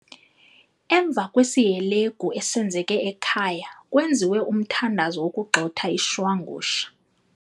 Emva kwesihelegu esenzeka ekhaya kwenziwe umthandazo wokugxotha ishwangusha.